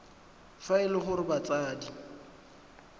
fa e le gore batsadi